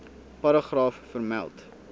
paragraaf vermeld